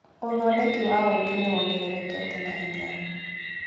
ũthondeki wa ũkĩ nĩwongererekete na hinya.